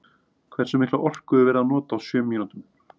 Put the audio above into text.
Hversu mikla orku er verið að nota á sjö mínútum?